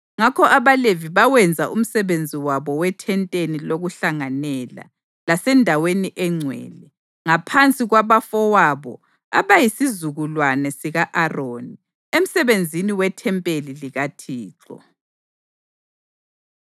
Ngakho abaLevi bawenza umsebenzi wabo weThenteni lokuHlanganela, laseNdaweni eNgcwele, ngaphansi kwabafowabo abayisizukulwana sika-Aroni, emsebenzini wethempeli likaThixo.